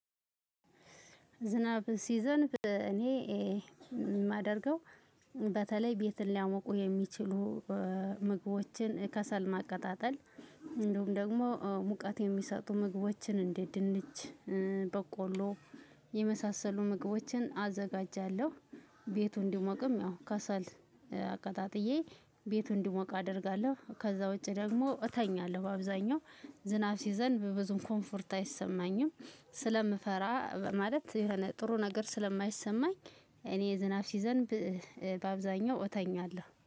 ዝናብ ሲዘንብ እኔ የማደርገው በተለይ ቤትን ሊያመቁ የሚችሉ ምግቦችን ከሰል ማቀጣጠል እንዲሁም ደግሞ ሙቀት የሚሰጡ ምግቦችን እንጀ ጅንች በቆሎ የመሳሰሉ ምግቦችን አዘጋጃለሁ። ቤቱ እንዲሞቅም ያው ከሰል አቀጣጥዬ ቤቱ እንዲሞቅ አደርጋለሁ። ከዛ ውጪ ደግሞ እተኛለሁ። በአብዛኛው ዝናብ ሲዘንብ ብዙም ኮምፈርት አይሰማኝም ስለምፈራ ማለት ጥሩ ነገር ስለማይሰማኝ። እኔ ዝናብ ሲዘንብ በአብዛኛው እተኛለሁ